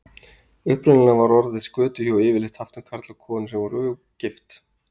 Upprunalega var orðið skötuhjú yfirleitt haft um karl og konu sem voru ógift.